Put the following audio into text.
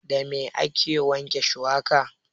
Da me ake wanke shuwaka?